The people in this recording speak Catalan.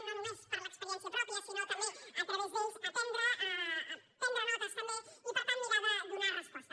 no només per l’experiència pròpia sinó també a través d’ells aprendre prendre’n notes també i per tant mirar de donar hi resposta